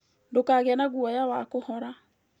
Ndũkagĩe na guoya wa kũhora